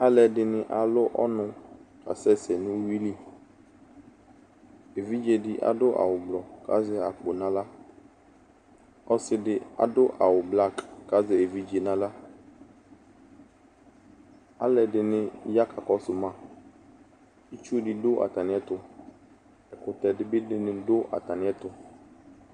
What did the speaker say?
Alʋ ɛdini alʋ ɔnu kasɛsɛ nʋwiliEvidze di adʋ awu blu ,kazɛ akpo naɣla Ɔsidi adʋ awu blak kazɛ evidze naɣlaAlu ɛdini ya kakɔsʋ maItsu di dʋ atamiɛtuƐkutɛ dini bi dʋ atamiɛtu